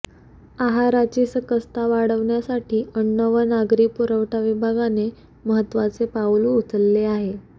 आहाराची सकसता वाढविण्यासाठी अन्न व नागरी पुरवठा विभागाने महत्वाचे पाऊल उचलले आहे